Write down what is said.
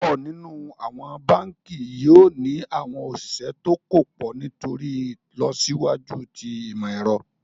Púpọ̀ nínu awọn bánkì yoo ni awọn osìsẹ̀ tó kò pọ̀ nítorí ilọsiwaju tí imọ̀-ẹ̀rọ̀.